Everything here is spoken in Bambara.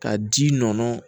Ka ji nɔnɔ